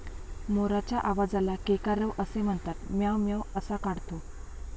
मोराच्या आवाजाला केकारव असे म्हणतात. म्याव म्याव असा काढतो.